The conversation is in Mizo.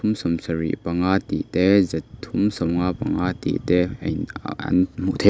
sawmsarih panga tih te zathum sawmnga panga tih te a in a an hmuh the--